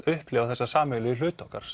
upplifa þessa sameiginlegu hluti okkar